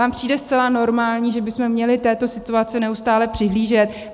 Vám přijde zcela normální, že bychom měli této situaci neustále přihlížet?